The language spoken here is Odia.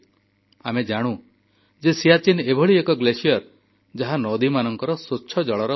ଆମେ ଜାଣୁ ଯେ ସିଆଚୀନ୍ ଏଭଳି ଏକ ହିମଖଣ୍ଡ ଯାହା ନଦୀମାନଙ୍କର ସ୍ୱଚ୍ଛଜଳର ଉତ୍ସ